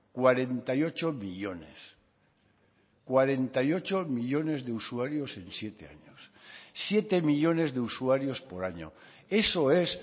cuarenta y ocho millónes cuarenta y ocho millónes de usuarios en siete años siete millónes de usuarios por año eso es